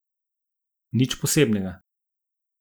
Nič posebnega.